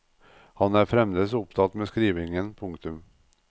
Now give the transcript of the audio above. Han er fremdeles opptatt med skrivingen. punktum